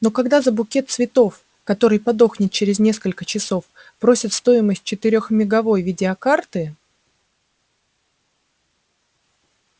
но когда за букет цветов который подохнет через несколько часов просят стоимость четырехмеговой видеокарты